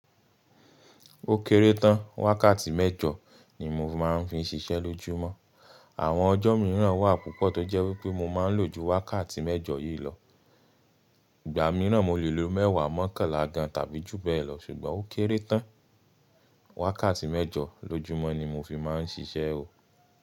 Ó kéré tán, wákàtí mẹ́jọ ni mo fi máa ń fi ń ṣiṣẹ́ lójúmọ́. Àwọn ọjọ́ mìíràn wà púpọ̀ tó jẹ́ wípé mo máa ń lò ju wákàtí mẹ́jọ yìí lọ. Ìgbà mìíràn mo lè lo mẹ́wàá mọ́kànlá gan tàbí jù bẹ́ẹ̀ lọ, ṣùgbọ́n ó kéré tán. Wákàtí mẹ́jọ lójúmọ́ ni mo fi máa ń ṣiṣẹ́ o.